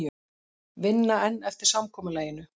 Vinna enn eftir samkomulaginu